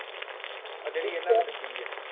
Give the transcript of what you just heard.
ਆਹ ਜਿਹੜੀ ਇਹਨਾ ਨੇ ਦਿੱਤੀ ਹੈ